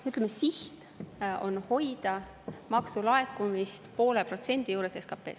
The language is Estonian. Ütleme, siht on hoida maksulaekumist poole protsendi juures SKP-st.